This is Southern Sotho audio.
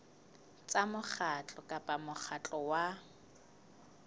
tsa mokgatlo kapa mokgatlo wa